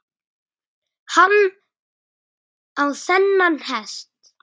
Hann á þennan hest.